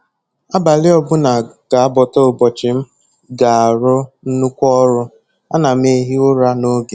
Abalị ọbụla ga-abọta ụbọchị m ga-arụ nnukwu ọrụ, ana m ehi ụra n'oge